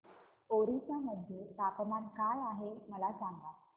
ओरिसा मध्ये तापमान काय आहे मला सांगा